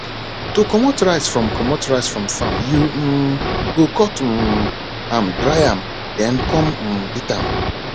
to comot rice from comot rice from farm you um go cut um am dry am then come um beat am